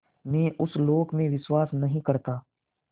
मैं उस लोक में विश्वास नहीं करता